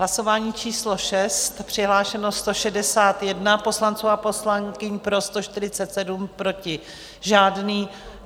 Hlasování číslo 6, přihlášeno 161 poslanců a poslankyň, pro 147, proti žádný.